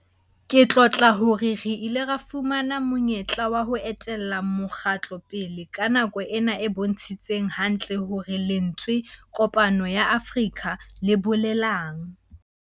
Ke tlotla hore re ile ra fuwa monyetla wa ho etella mokgatlo pele ka nako ena e bontshitseng hantle hore lentswe 'Kopano ya Afrika' le bolelang.